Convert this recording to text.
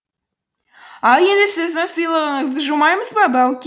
ал енді сіздің сыйлығыңызды жумаймыз ба бауке